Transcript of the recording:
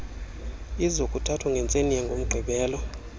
izokuthathwa ngentseni yangomgqibelo